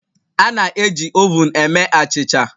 A na-eji ovun eme achịcha